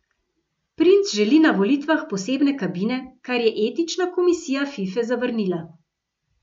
Princ želi na volitvah posebne kabine, kar je etična komisija Fife zavrnila.